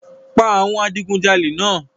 Pa awọn adigunjale náà!